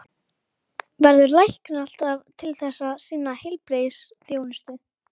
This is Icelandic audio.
Verður læknir alltaf til þess að sinna heilbrigðisþjónustu?